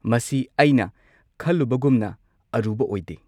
ꯃꯁꯤ ꯑꯩꯅ ꯈꯜꯂꯨꯕꯒꯨꯝꯅ ꯑꯔꯨꯕ ꯑꯣꯏꯗꯦ꯫